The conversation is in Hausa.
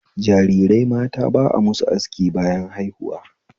Jarirai mata ba a musu aski bayan haihuwa